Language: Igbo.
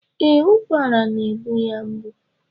Ee, ụkwara ya na-egbu ya mgbu.